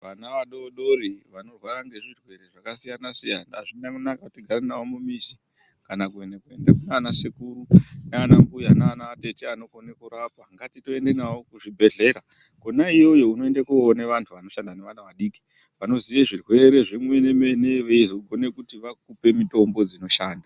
Vana vadodori vanorwara ngezvirwere zvakasiyana-siyana, azvina kunaka kuti tigare navo mumizi kana kuende kunanasekuru nanambuya nanatete anokona kurapa, ngatitoenda nawo kuzvibhedhera konaiyoyo unoende koone vantu vanoshanda nevana vadiki, vanoziye zvirwere zvemene-mene, vagone vakupe mitombo dzinoshanda.